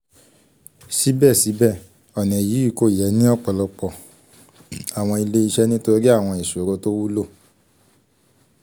sibẹsibẹ ọna yii ko yẹ ni ọpọlọpọ awọn ile-iṣẹ nitori awọn iṣoro to wulo